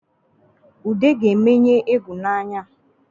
Ude ga-emenye egwu n’anya